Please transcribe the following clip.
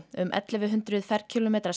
um ellefu hundruð ferkílómetrar